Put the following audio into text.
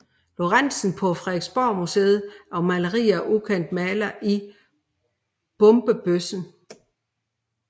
Lorentzen på Frederiksborgmuseet og maleri af ukendt maler i Bombebøssen